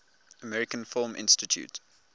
american film institute